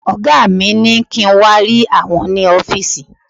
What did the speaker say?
Ọ̀gá mi ní kí n wà rí àwọn ni ọ́fìsì